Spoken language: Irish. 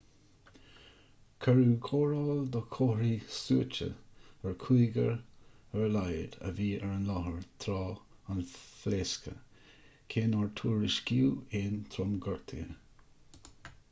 cuireadh cóireáil do chomharthaí suaite ar chúigear ar a laghad a bhí ar an láthair tráth an phléasctha cé nár tuairiscíodh aon tromghortuithe